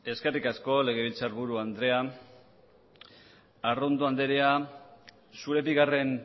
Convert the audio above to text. eskerrik asko legebiltzarburu andrea arrondo andrea zure bigarren